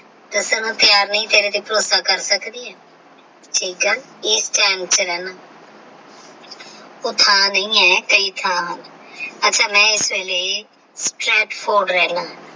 ਦੱਸਣ ਨੂੰ ਤਿਆਰ ਨਹੀਂ ਤੇਰੇ ਤੇ ਭਰੋਸਾ ਕਰ ਸਕਦੀ ਹਾਂ ਠੀਕ ਹੈ ਐਸ ਵਹਿਮ ਵਿੱਚ ਰਹਿ ਲਾਗੀ ਉਹ ਥਾਂ ਨਹੀਂ ਹੈ ਕਈ ਥਾਂ ਅੱਛਾ ਮੈਂ ਐਸ ਵੇਲੇ ਰਹਿ ਲਾਗੀ।